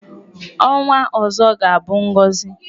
Ọnwa ọzọ ga-abụ ngọzị.